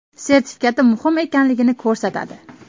sertifikati muhim ekanligini ko‘rsatadi.